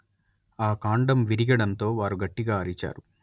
ఆ కాండం విరిగడంతో వారు గట్టిగా అరిచారు